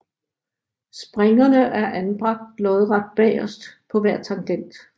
Springerne er anbragt lodret bagest på hver tangent